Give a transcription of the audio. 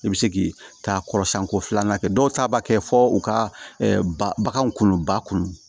I bɛ se k'i ta kɔrɔsiɲɛko filanan kɛ dɔw ta b'a kɛ fɔ u ka bagaw kolon ba kun